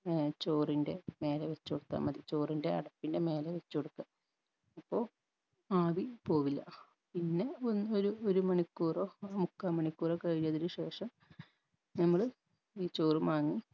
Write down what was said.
അഹ് ചോറിൻറെ മേലെ വെച്ചു കൊട്ത്താ മതി ചോറിൻറെ അടപ്പിൻറെ മേലെ വെച് കൊടുക്കുഅ അപ്പൊ ആവി പോവില്ല പിന്നെ അഹ് ഒ ഒരു മണിക്കൂറോ മുക്കാ മണിക്കൂറോ കൈനതിന് ശേഷം നമ്മള് ഈ ചോറു മാങ്ങി